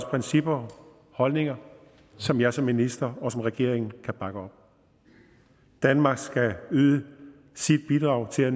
principper og holdninger som jeg som minister og vi som regering kan bakke op danmark skal yde sit bidrag til at